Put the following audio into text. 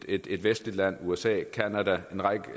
et et vestligt land usa canada og en række